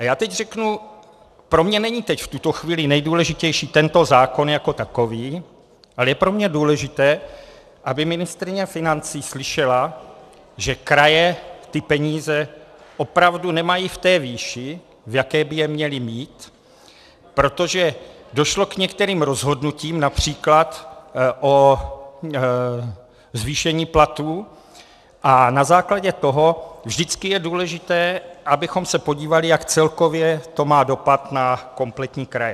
A já teď řeknu, pro mě není teď v tuto chvíli nejdůležitější tento zákon jako takový, ale je pro mě důležité, aby ministryně financí slyšela, že kraje ty peníze opravdu nemají v té výši, v jaké by je měly mít, protože došlo k některým rozhodnutím, například o zvýšení platů, a na základě toho vždycky je důležité, abychom se podívali, jak celkově to má dopad na kompletní kraje.